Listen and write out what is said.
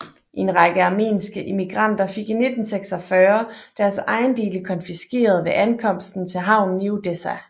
En række armenske immigranter fik i 1946 deres ejendele konfiskeret ved ankomsten til havnen i Odessa